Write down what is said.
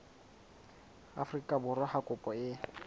afrika borwa ha kopo e